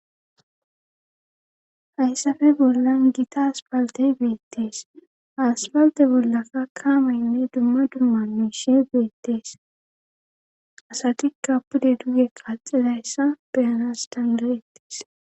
Hayssafe bollan gita aspalte beettees haspalte bollaka kaamaynne dumma dumma muyshe beettees asatikka pude duye qaxilayssa beyanas danirettees.